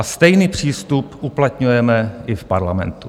A stejný přístup uplatňujeme i v parlamentu.